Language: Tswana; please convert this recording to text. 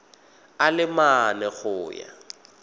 a le mane go ya